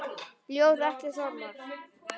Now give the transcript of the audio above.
Ljóð: Atli Þormar